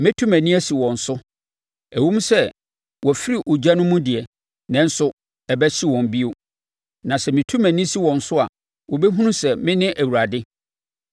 Mɛtu mʼani asi wɔn so. Ɛwom sɛ wafiri ogya no mu deɛ, nanso ɛbɛhye wɔn bio. Na sɛ metu mʼani si wɔn so a, wobɛhunu sɛ mene Awurade.